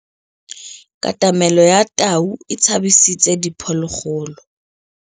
Katamêlô ya tau e tshabisitse diphôlôgôlô.